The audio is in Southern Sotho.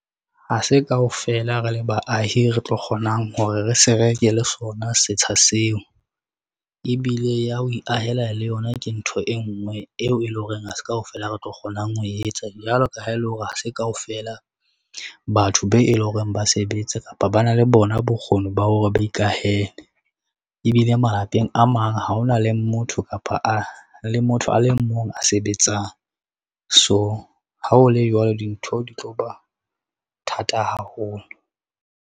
Ha se kaofela re le baahi, re tlo kgonang hore re se reke le sona setsha seo, ebile ya ho iahela le yona ke ntho e ngwe eo e leng hore ha se kaofela re tlo kgonang ho etsa, jwalo ka ha ele hore ha se kaofela batho be eleng hore ba sebetse kapa ba na le bona bokgoni ba hore ba ikahele. Ebile malapeng a mang ha ona le motho kapa le motho a le mong a sebetsang, so ha ho le jwalo dintho di tlo ba thata haholo.